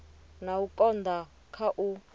na u konda kha u